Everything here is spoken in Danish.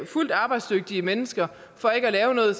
fuldt arbejdsdygtige mennesker for ikke at lave noget